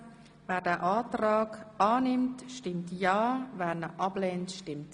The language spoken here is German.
Damit haben wir nun noch die beiden Traktanden 59 und 60.